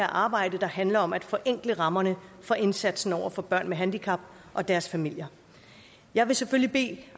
arbejde der handler om at forenkle rammerne for indsatsen for børn med handicap og deres familier jeg vil selvfølgelig bede